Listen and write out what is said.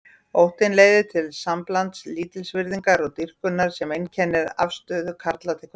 Óttinn leiðir til samblands lítilsvirðingar og dýrkunar sem einkennir afstöðu karla til kvenna.